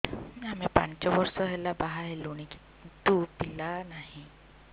ଆମେ ପାଞ୍ଚ ବର୍ଷ ହେଲା ବାହା ହେଲୁଣି କିନ୍ତୁ ପିଲା ନାହିଁ